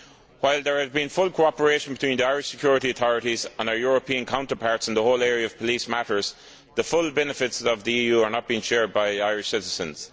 While there has been full cooperation between the Irish security authorities and our European counterparts in the whole area of police matters, the full benefits of the EU are not being shared by Irish citizens.